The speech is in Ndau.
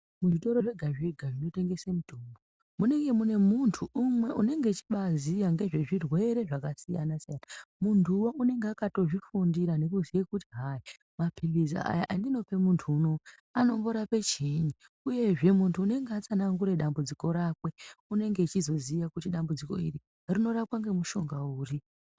Muzvitoro zvega-zvega zvinotengese mitombo, munenge mune muntu umwe unenge echibaaziya ngezvezvirwere zvakasiyana-siyana. Muntuwo unenga akatozvifundira nekuziye kuti hayi, maphilizi aya andinope muntu unowu, anomborape chiini, uyezve muntu unenga atsanangure dambudziko rake, unenge achizoziya kuti dambudziko iri rinorapwa ngemushonga uri.